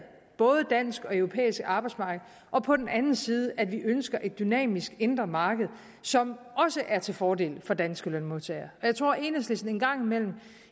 både dansk og europæisk arbejdsmarkedet og på den anden side at vi ønsker et dynamisk indre marked som også er til fordel for danske lønmodtagere jeg tror at enhedslisten en gang imellem